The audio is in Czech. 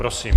Prosím.